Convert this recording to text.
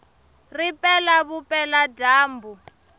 ri pela vupela dyambu